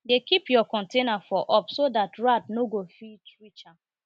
dey keep your container for up so dat rat nor go fit reach am